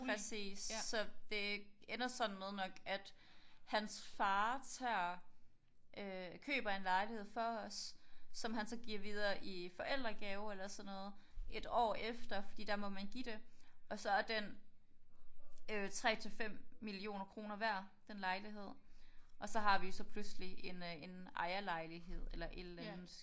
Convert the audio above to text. Præcis. Så det ender sådan med nok at hans far tager øh køber en lejlighed for os som han så giver videre i forældregave eller sådan noget et år efter fordi der må man give det. Og så er den øh 3 til 5 millioner kroner værd den lejlighed og så har vi jo så pludselig en ejerlejlighed eller et eller andet